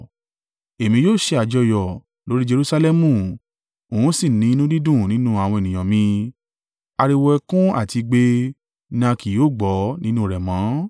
Èmi yóò ṣe àjọyọ̀ lórí Jerusalẹmu n ó sì ní inú dídùn nínú àwọn ènìyàn mi; ariwo ẹkún àti igbe ni a kì yóò gbọ́ nínú rẹ̀ mọ́.